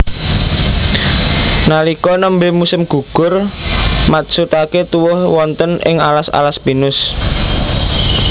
Nalika nembé musim gugur matsutaké tuwuh wonten ing alas alas pinus